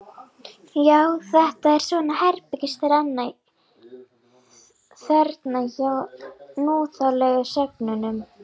Já, þetta er svona herbergisþerna hjá núþálegu sögnunum.